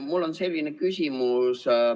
Mul on selline küsimus.